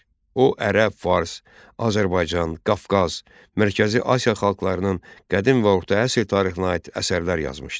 O, ərəb, fars, Azərbaycan, Qafqaz, Mərkəzi Asiya xalqlarının qədim və orta əsr tarixinə aid əsərlər yazmışdı.